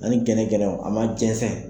Ani gɛrɛgɛrɛw a ma jɛnsɛn